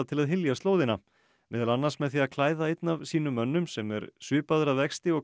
til að hylja slóðina meðal annars með því að klæða einn af sínum mönnum sem er svipaður að vexti og